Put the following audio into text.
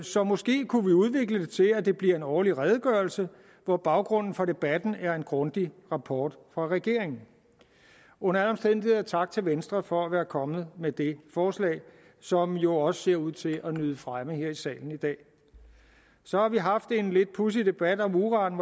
så måske kunne vi udvikle det til at det bliver en årlig redegørelse hvor baggrunden for debatten er en grundig rapport fra regeringen under alle omstændigheder tak til venstre for at være kommet med det forslag som jo også ser ud til at nyde fremme her i salen i dag så har vi haft en lidt pudsig debat om uran